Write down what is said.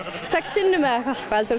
sex sinnum eða eitthvað hvað heldurðu